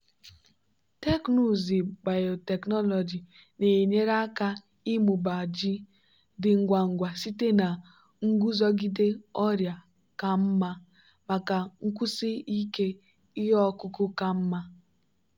teknụzụ biotechnology na-enyere aka ịmụba ji dị ngwa ngwa site na nguzogide ọrịa ka mma maka nkwụsi ike ihe ọkụkụ ka mma.